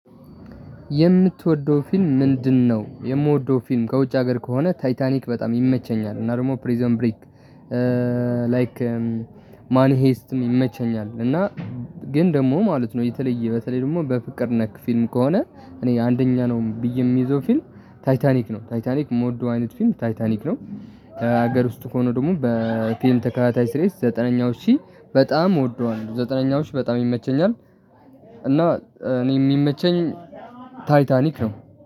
የምትወደው ፊልም ምንድነው? የምወደው ፊልም ከውጭ ሀገር ከሆነ ታይታኒክ በጣም ይመቸኛል። እና ደግሞ ፕሪዝን ብሬክ ላይክ መኒ ሄስትም ይመቸኛል። እና ግን ደግሞ ማለት ነው። የተለየ በተለይ ደግሞ በፍቅር ነክ ፊልም ከሆነ እኔ አንደኛ ነው ብዬ የምይዘው ፊልም ታይታኒክ ነው ታይታኒክ የምወደው አይነት ፊልም ታይታኒክ ነው። ሀገር ውስጥ ከሆነ ደግሞ በፊልም ተከታታይ ሲሪስ ዘጠነኛው ሺ በጣም እወደዋለሁ። ዘጠነኛው ሺ በጣም ይመቸኛል። እና እኔ የሚመቸኝ ታይታኒክ ነው።